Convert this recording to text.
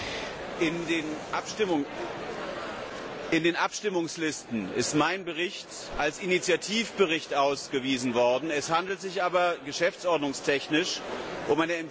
Frau Präsidentin! In den Abstimmungslisten ist mein Bericht als Initiativbericht ausgewiesen worden. Es handelt sich aber geschäftsordnungstechnisch um eine Empfehlung an den Rat.